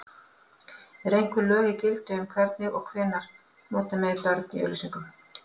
Eru einhver lög í gildi um hvenær og hvernig nota megi börn í auglýsingum?